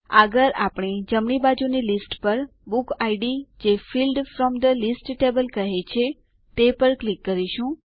આગળ આપણે જમણી બાજુની લીસ્ટ પર બુક ઇડ જે field from the list table કહે છે તે પર ક્લિક કરીશું